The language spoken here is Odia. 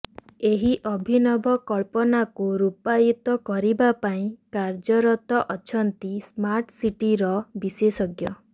ଏହି ଅଭିନବ କଳ୍ପନାକୁ ରୁପାୟିତ କରିବାପାଇଁ କାର୍ଯ୍ୟରତ ଅଛନ୍ତି ସ୍ମାର୍ଟ ସିଟିର ବିଶେଷଜ୍ଞ